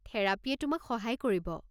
থেৰাপীয়ে তোমাক সহায় কৰিব।